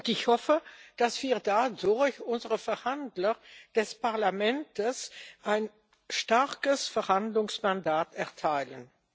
Ich hoffe, dass wir dadurch unseren Verhandlern des Parlaments ein starkes Verhandlungsmandat erteilen.